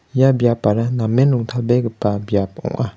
ia biapara namen rongtalbegipa biap ong·a.